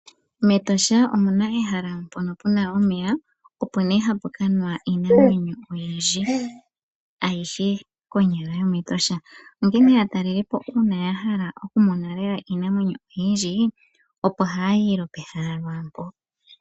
MEtosha omuna ehala mono puna omeya, opo nee hapu kanwa iinamwenyo oyindji ayishe konyala yomEtosha onkene ngele aatalelipo ya hala okumona lela iinamwenyo oyindji opo haya yi pehala mpoka.